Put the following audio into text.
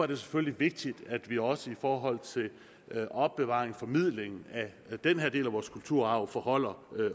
det selvfølgelig vigtigt at vi også i forhold til opbevaring og formidling af den her del af vores kulturarv forholder